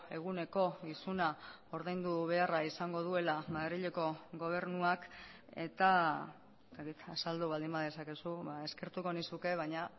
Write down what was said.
eguneko isuna ordaindu beharra izango duela madrileko gobernuak eta azaldu baldin badezakezu ezkertuko nizuke baina